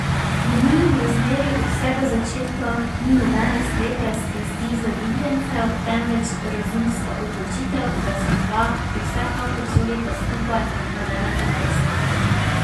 V njunem razmerju od vsega začetka ni nobene slepe strasti zaljubljencev, temveč razumska odločitev, da si dva, ki vsekakor sodita skupaj, nadeneta prstana.